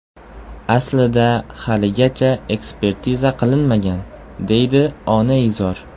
Aslida haligacha ekspertiza qilinmagan”, deydi onaizor.